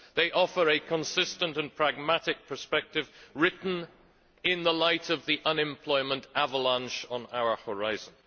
They offer a consistent and pragmatic perspective written in the light of the unemployment avalanche on our horizon.